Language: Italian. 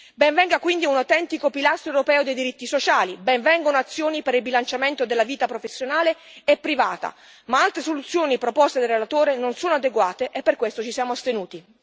Ben venga quindi un autentico pilastro europeo dei diritti sociali, ben vengano azioni per il bilanciamento della vita professionale e privata, ma altre soluzioni proposte dal relatore non sono adeguate e per questo ci siamo astenuti.